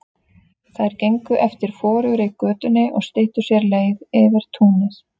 Þær gengu eftir forugri götunni og styttu sér leið yfir túnið.